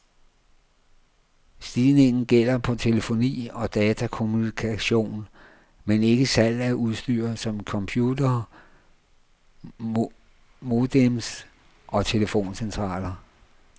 Stigningen gælder på telefoni og datakommunikation, men ikke salg af udstyr som computere, modems og telefoncentraler.